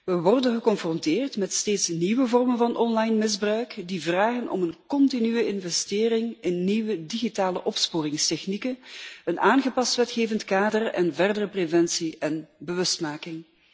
We worden geconfronteerd met steeds nieuwe vormen van online misbruik die vragen om een continue investering in nieuwe digitale opsporingstechnieken, een aangepast wetgevend kader en verdere preventie en bewustmaking.